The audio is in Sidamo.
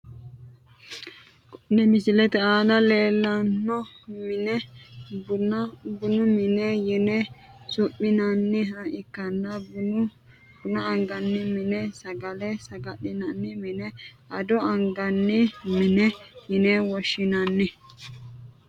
Kone misilete aana leelano mine bunu mine yine su`minaniha ikanna buna angani mine sagale sagalinani mine ado angani mine yine woshinani.